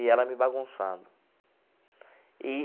E ela me bagunçando e.